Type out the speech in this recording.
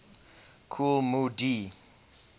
kool moe dee